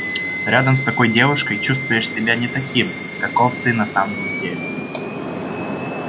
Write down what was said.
рядом с такой девушкой чувствуешь себя не таким каков ты на самом деле